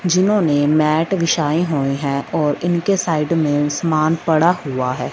जिन्होंने मैट बिछाई हुई है और उनके साइड में समान पड़ा हुआ है।